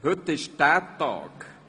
Heute ist Tag.